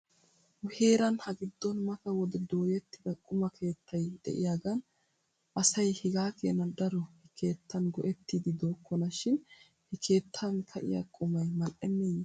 Nu heeran hagiddon mata wode dooyettida quma keettay de'iyaagan asay hegaa keena daro he keettan go'etiiddi dookona shin he keettan ka'iyaa qumay mal''eneeye?